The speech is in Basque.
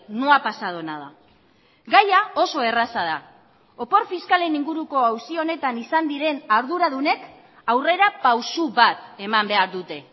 no ha pasado nada gaia oso erraza da opor fiskalen inguruko auzi honetan izan diren arduradunek aurrera pausu bat eman behar dute